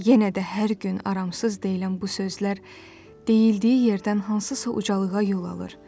Yenə də hər gün aramsız deyilən bu sözlər deyildiyi yerdən hansısa ucalığa yol alır.